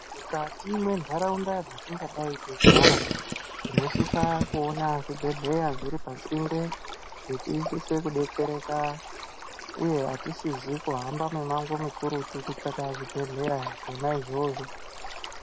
Mukati mwe ndaraunda dzatingadai teigara tinosisa kuona zvibhedhlera zviripasinde kuti tisise kudetsereka uyezve hatisisi kuhamba mumango mukurutu kutsvaka zvibhedhlera zvona izvozvo.